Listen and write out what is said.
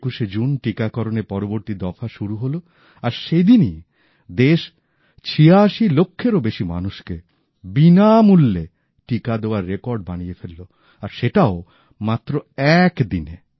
২১শে জুন টিকাকরণের পরবর্তী দফা শুরু হল আর সেদিনই দেশ ছিয়াশি লক্ষেরও বেশি মানুষকে বিনামূল্যে টিকা দেওয়ার রেকর্ড বানিয়ে ফেলল আর সেটাও মাত্র এক দিনে